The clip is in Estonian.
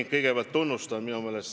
Ma kõigepealt tunnustan sind!